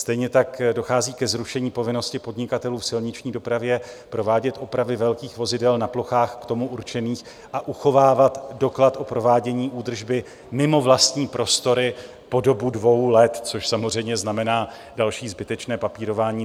Stejně tak dochází ke zrušení povinnosti podnikatelů v silniční dopravě provádět opravy velkých vozidel na plochách k tomu určených a uchovávat doklad o provádění údržby mimo vlastní prostory po dobu dvou let, což samozřejmě znamená další zbytečné papírování.